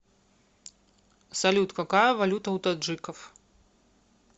салют какая валюта у таджиков